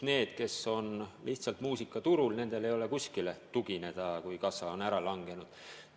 Nendel, kes on lihtsalt muusikaturul tegutsenud, ei ole millelegi tugineda, kui kassa on ära langenud.